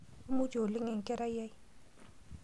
Imutie oleng enkerai ai.